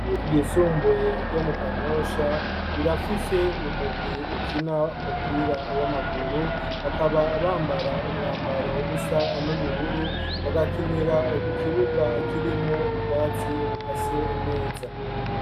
Igisumbuye ryo mu kanyosha rirafise umugwi ukina umupira w'amaguru bakaba bambara umwambaro usa n'ubururu bagakinira ku kibuga kirimwo ubwatsi buka se neza.